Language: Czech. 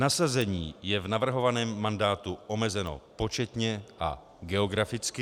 Nasazení je v navrhovaném mandátu omezeno početně a geograficky.